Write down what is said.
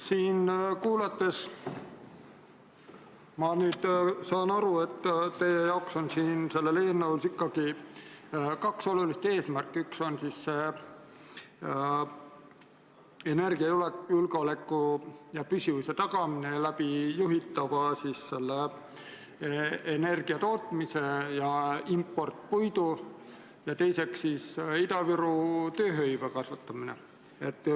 Siin kuulates ma saan aru, et teie jaoks on sellel eelnõul ikkagi kaks olulist eesmärki, üks on energiajulgeoleku ja -püsivuse tagamine juhitava energiatootmise ja importpuidu abil ning teine on Ida-Virumaal tööhõive kasvatamine.